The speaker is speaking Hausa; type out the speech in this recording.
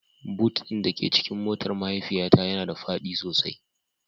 Boot ɗin da ke cikin motar mahaifiyata yana da faɗi sosai